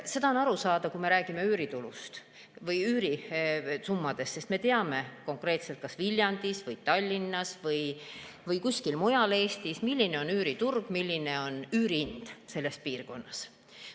Seda on aru saada, kui me räägime üürisummadest, sest me teame konkreetselt, kas Viljandis või Tallinnas või kuskil mujal Eestis, milline on üüriturg ja milline on üürihind selles piirkonnas.